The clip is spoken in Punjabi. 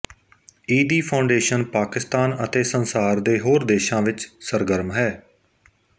ਈਦੀ ਫਾਊਂਡੇਸ਼ਨ ਪਾਕਿਸਤਾਨ ਅਤੇ ਸੰਸਾਰ ਦੇ ਹੋਰ ਦੇਸ਼ਾਂ ਵਿੱਚ ਸਰਗਰਮ ਹੈ